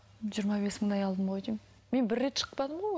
жиырма бес мыңдай алдым ғой деймін мен бір рет шықпадым ғой